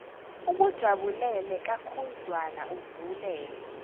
ukujabulele kakhudlwana uvulele